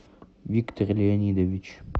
виктор леонидович